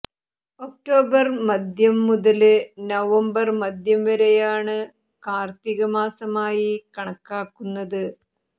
October മധ്യം മുതല് November മധ്യം വരെയാണ് കാര്ത്തികമാസമായി കണക്കാക്കുന്നത്